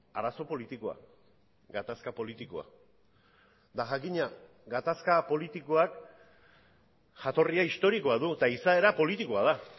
arazo politikoa gatazka politikoa eta jakina gatazka politikoak jatorria historikoa du eta izaera politikoa da